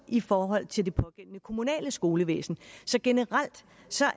i forhold til det pågældende kommunale skolevæsen så generelt